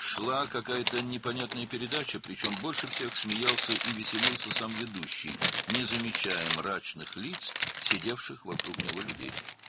Bir növ anlaşılmaz veriliş gedirdi, üstəlik hamıdan çox aparıcının özü gülür və əylənirdi, ətrafında oturan insanların tutqun sifətlərini sezmədən.